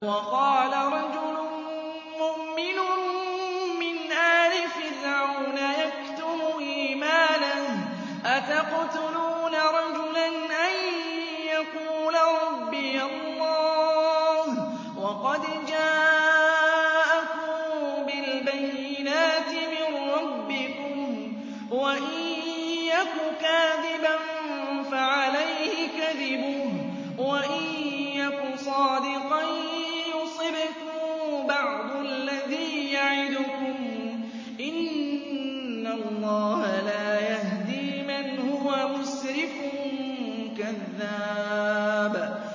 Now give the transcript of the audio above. وَقَالَ رَجُلٌ مُّؤْمِنٌ مِّنْ آلِ فِرْعَوْنَ يَكْتُمُ إِيمَانَهُ أَتَقْتُلُونَ رَجُلًا أَن يَقُولَ رَبِّيَ اللَّهُ وَقَدْ جَاءَكُم بِالْبَيِّنَاتِ مِن رَّبِّكُمْ ۖ وَإِن يَكُ كَاذِبًا فَعَلَيْهِ كَذِبُهُ ۖ وَإِن يَكُ صَادِقًا يُصِبْكُم بَعْضُ الَّذِي يَعِدُكُمْ ۖ إِنَّ اللَّهَ لَا يَهْدِي مَنْ هُوَ مُسْرِفٌ كَذَّابٌ